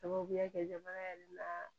Sababuya kɛ jamana yɛrɛ la